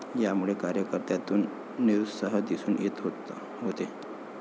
यामुळे कार्यकर्त्यांतून निरुत्साह दिसून येत होते.